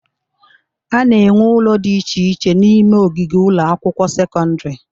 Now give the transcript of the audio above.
A na-enwe ụlọ dị iche iche n'ime ogige ụlọ akwụkwọ sekọndịrị.